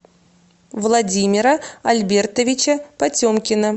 владимира альбертовича потемкина